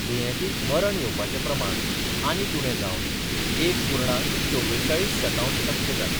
दुयेंतीक मर येवपाचे प्रमाण आनीक उणे जावन एक पूर्णांक चवेचाळीस शतांश टक्के जाला.